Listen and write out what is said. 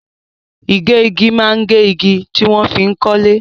Igegi maa n ge igi tí wọ́n fi n kọ́lé.